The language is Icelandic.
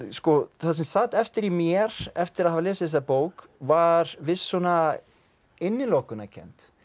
það sem sat eftir í mér eftir að hafa lesið þessa bók var viss svona innilokunarkennd